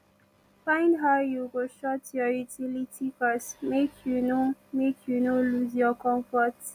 find how yu go short yur utility cost mek yu no mek yu no lose yur comfort